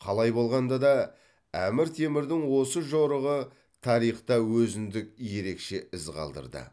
қалай болғанда да әмір темірдің осы жорығы тарихта өзіндік ерекше із қалдырды